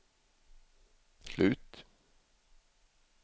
slut